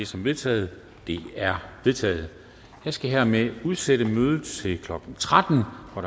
som vedtaget det er vedtaget jeg skal hermed udsætte mødet til klokken tretten hvor